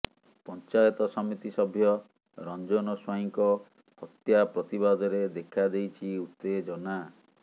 ପଂଚାୟତ ସମିତି ସଭ୍ୟ ରଂଜନ ସ୍ୱାଇଁଙ୍କ ହତ୍ୟା ପ୍ରତିବାଦରେ ଦେଖା ଦେଇଛି ଉତେଜନା